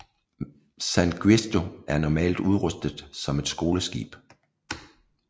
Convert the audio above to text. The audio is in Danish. San Giusto er normalt udrustet som et skoleskib